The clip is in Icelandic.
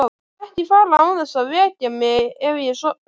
Ekki fara án þess að vekja mig ef ég sofna.